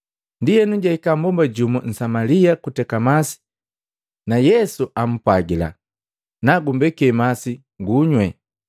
Ndienu jahika mbomba jumu Nsamalia kuteka masi na Yesu ampwagila, “Nagumbeke masi ngunywi.”